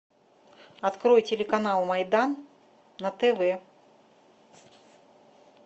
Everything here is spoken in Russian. открой телеканал майдан на тв